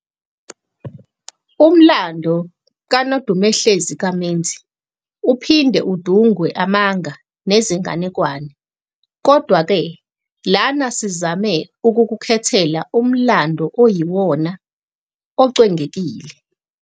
Umlando, kaNodumehlezi kaMenzi uphinde udungwe amanga nezinganekwane, kodwa-ke lana sizame ukukukhethela umlando okuyiwona ocwengekile.